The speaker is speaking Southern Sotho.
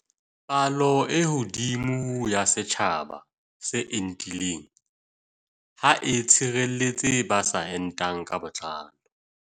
Palo e hodimo ya setjhaba se entileng ha e tshireletse ba sa entang ka botlalo.